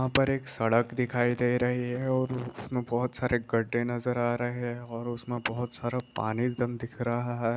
वहाँ पर एक सड़क दिखाई दे रही है और उसमें बहुत सारे गड्डे नजर आ रहें है और उसमें बहुत सारा पानी एकदम दिख रहा है।